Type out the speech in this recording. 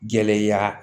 Gɛlɛya